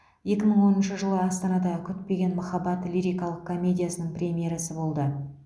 екі мың оныншы жылы астанада күтпеген махаббат лирикалық комедиясының премьерасы болды